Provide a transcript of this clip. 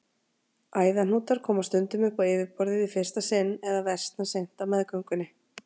Æðahnútar koma stundum upp á yfirborðið í fyrsta sinn eða versna seint á meðgöngunni.